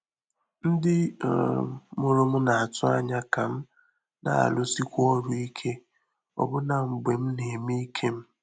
Ndị́ um mụ́rụ̀ m nà-àtụ́ ányá kà m nà-árụ́síkwu ọrụ́ íké ọbụ́nà mgbè m nà-émé íké m.